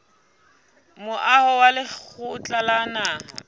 moaho wa lekgotla la naha